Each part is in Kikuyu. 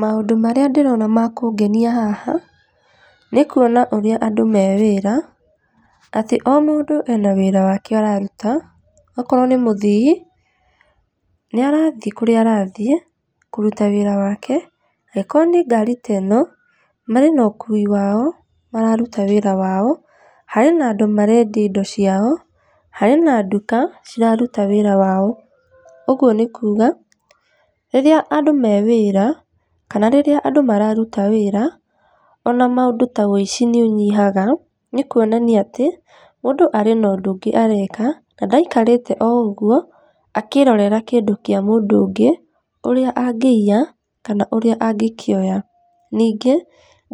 Maũndũ marĩa ndĩrona ma kũngenia haha, nĩ kuona ũrĩa andũ me wĩra atĩ o mũndũ ena wĩra wake araruta. Okorwo nĩ mũthii, nĩ arathiĩ kũrĩa arathiĩ kũruta wĩra wake, angĩkorwo nĩ ngari teno, marĩ na ũkui wao mararuta wĩra wao. Harĩ na andũ marendia indo ciao, harĩ na nduka ciraruta wĩra wao. Ũguo nĩ kuga rĩrĩa andũ me wĩra kana rĩrĩa andũ mararuta wĩra, ona maũndũ ta ũici nĩ ũnyihaga, nĩ kuonanaia atĩ mũndũ arĩ na ũndũ ũngĩ areka na ndaikarĩte o ũguo akĩrorera kĩndũ kĩa mũndũ ũngĩ ũrĩa angĩiya kana ũrĩa angĩkĩoya. Ningĩ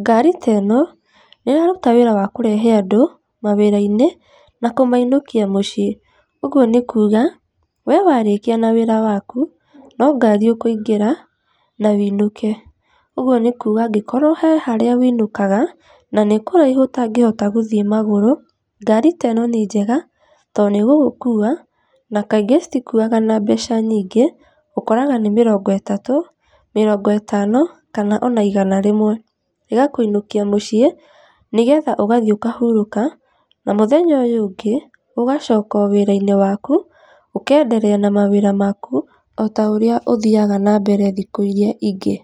ngari ta ĩno, nĩ ĩraruta wĩra wa kũrehe andũ mawĩra-inĩ na kũmainũkia mũciĩ. Ũguo nĩ kuga, we warĩkia na wĩra waku, no ngari ũkũingĩra na ũinũke. Ũguo nĩ kũũga angĩkorwo he harĩa winũkaga, na nĩ kũraihu ũtangĩhota gũthiĩ magũrũ, ngari teno nĩ njega, to nĩ ĩgũkũinũkia, na kaingĩ citikuwaga na mbeca nyingĩ, ũkoraga nĩ mĩrongo ĩtatũ, mĩrongo ĩtano kana ona igana rĩmwe, ĩgakũinũkia mũciĩ nĩgetha ũgathiĩ ũkahurũka na mũthenya ũyũ ũngĩ ũgacoka wĩra-inĩ waku, ũkenderea na mawĩra maku ota ũrĩa ũthiaga na mbere thikũ iria ingĩ.